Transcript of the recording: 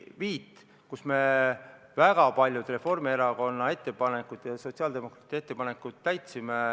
Me arvestasime seal väga paljusid Reformierakonna ja sotsiaaldemokraatide ettepanekuid.